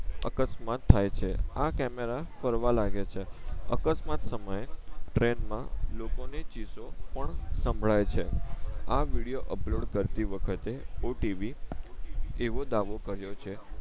અકસ્માત થઈ છે આ કેમેરા ફરવા લાગે છે અકસ્માત સમયે ટ્રેન માં લોકો ને ચીસો પણ સંભળાઈ છે આ વિડિયો અપલોડ કરતી વખતે હું ટીવી એવો દાવો કર્યો છે